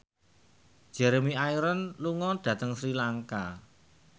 Jeremy Irons lunga dhateng Sri Lanka